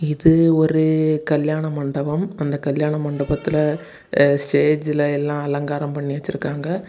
இது ஒரு கல்யாண மண்டபம் அந்த கல்யாண மண்டபத்துல அ ஸ்டேஜ்ல எல்லா அலங்காரம் பண்ணி வச்சிருக்காங்க.